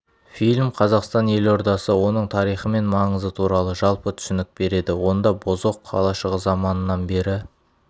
фильм қазақстан елордасы оның тарихы мен маңызы туралы жалпы түсінік береді онда бозоқ қалашығы заманынан бері